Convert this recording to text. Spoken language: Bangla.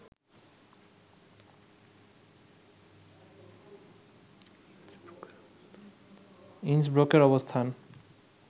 ইন্সব্রুকের অবস্থান